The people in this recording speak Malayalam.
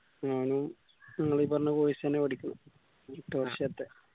ഓനും നിങ്ങളീ പറഞ്ഞ course എന്നെ പഠിക്കുന്ന് എട്ട് വർഷത്തെ